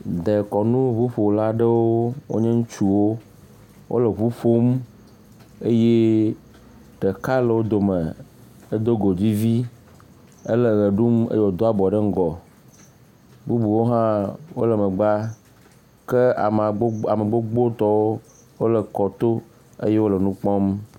Dekɔnuŋuƒola aɖewo wonye ŋutsuwo wole ŋu ƒom eye ɖeka le dome hele wɔ ɖumeye wòdo abɔ ɖe ŋgɔ, bubuwo hã wole megbea ke ame gbogbotɔwo wole kɔto hele nu kpɔm.